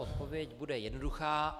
Odpověď bude jednoduchá: